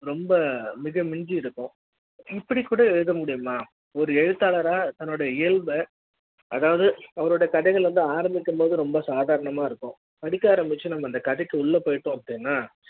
ரொம்ப மிக மிஞ்சி இருக்கும் இப்படி கூட எழுத முடியுமா ஒரு எழுத்தாளரா தன்னோட இயல்ப அதாவது அவருடைய கதைகள் வந்து ஆரம்பிக்கும் போது ரொம்ப சாதாரணமா இருக்கும் படிக்க ஆரம்பிச்ச அந்த கதைக்கு உள்ள போயிட்டு அப்டின்னா ரொம்ப